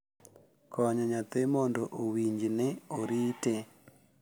Konyo nyathi mondo owinj ni orite